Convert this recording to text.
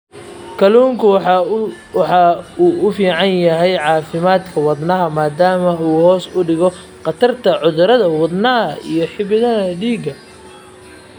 Kalluunku waxa uu u fiican yahay caafimaadka wadnaha maadaama uu hoos u dhigo khatarta cudurrada wadnaha iyo xididdada dhiigga.